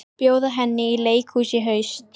Bjóða henni í leikhús í haust.